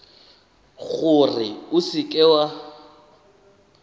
gore o seka w a